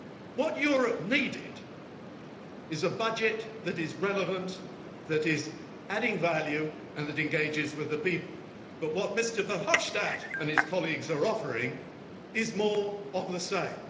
What Europe needed is a budget that is relevant, that is adding value and that engages with the people, but what Mr Verhofstadt and his colleagues are offering is more of the same.